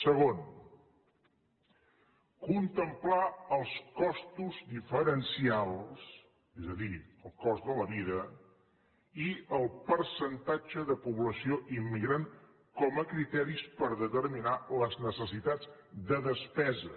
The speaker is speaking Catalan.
segon contemplar els costos diferencials és a dir el cost de la vida i el percentatge de població immigrant com a criteris per determinar les necessitats de despesa